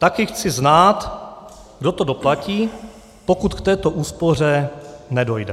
Taky chci znát, kdo to doplatí, pokud k této úspoře nedojde.